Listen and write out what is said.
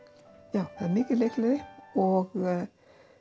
já það er mikil leikgleði og